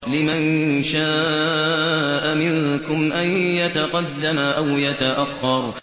لِمَن شَاءَ مِنكُمْ أَن يَتَقَدَّمَ أَوْ يَتَأَخَّرَ